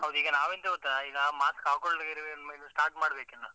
ಹೌದು ಈಗ ನಾವೆಂತ ಗೊತ್ತಾ, ಈಗ mask ಹಾಕೊಳ್ದೆ ಇರುವರು ಇನ್ಮೇಲೆ start ಮಾಡ್ಬೇಕು ಇನ್ನ.